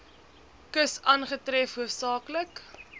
kus aangetref hoofsaaklik